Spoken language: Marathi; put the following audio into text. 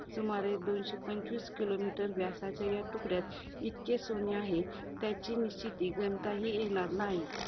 सुमारे दोनशे पंचवीस kilometers व्यासाच्या या तुकड्यात, इतके सोने आहे. त्याची निश्चिती गणताही येणार नाही.